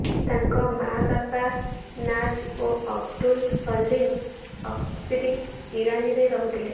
ତାଙ୍କ ମାଆ ବାପା ନାଜ ଓ ଅବଦୁଲ ସଲିମ ଅସ୍କରୀ ଇରାନୀରେ ରହୁଥିଲେ